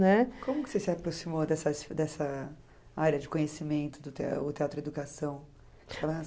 Né? Como que você se aproximou dessa área de conhecimento teatro-educação?